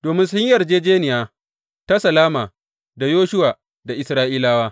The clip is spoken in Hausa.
Domin sun yi yarjejjeniya ta salama da Yoshuwa da Isra’ilawa.